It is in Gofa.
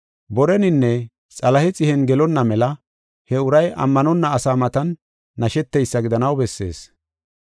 Boreninne Xalahe xihen gelonna mela he uray ammanonna asa matan nasheteysa gidanaw bessees.